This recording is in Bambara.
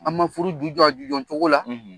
An ma furu ju jɔ a ju jɔ cogo la.